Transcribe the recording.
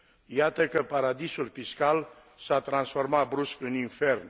Iată că paradisul fiscal s a transformat, brusc, în infern.